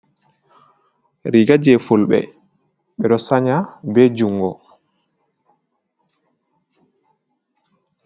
Riiga jey Fulɓe ɓe ɗo sanya bee junngo.